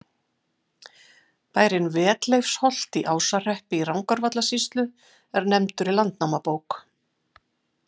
Bærinn Vetleifsholt í Ásahreppi í Rangárvallasýslu er nefndur í Landnámabók.